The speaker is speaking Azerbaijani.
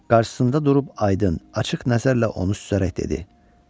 Qarşısında durub aydın, açıq nəzərlə onu süzərək dedi.